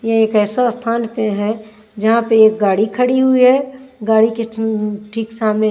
ये एक ऐसा स्थान पे है जहां पे एक गाड़ी खड़ी हुई है गाड़ी के थीं ठीक सामने --